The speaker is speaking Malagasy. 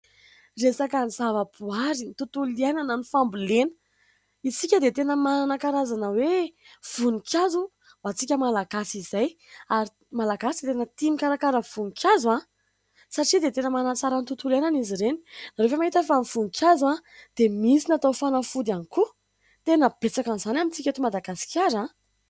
Resaka ny zavaboary ny tontolo iainana, ny fambolena. Isika dia tena manan-karazana hoe voninkazo ho antsika malagasy izay ary malagasy tena tia mikarakara voninkazo a ! Satria dia tena manatsara ny tontolo iainana izy ireny. Ianareo ve mahita fa ny voninkazo dia misy natao fanafody ihany koa ? Tena betsaka an'izany amintsika eto Madagasikara .